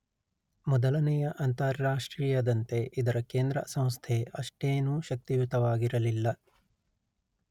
ಮೊದಲನೆಯ ಅಂತಾರಾಷ್ಟ್ರೀಯದಂತೆ ಇದರ ಕೇಂದ್ರ ಸಂಸ್ಥೆ ಅಷ್ಟೇನೂ ಶಕ್ತಿಯುತವಾಗಿರಲಿಲ್ಲ